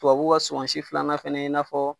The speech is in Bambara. Tubabuw ka suma si filanan fɛnɛ i n'a fɔ